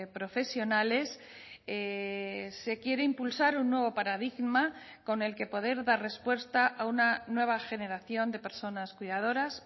profesionales se quiere impulsar un nuevo paradigma con el que poder dar respuesta a una nueva generación de personas cuidadoras